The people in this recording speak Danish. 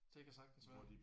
Det kan sagtens være